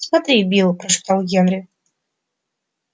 смотри билл прошептал генри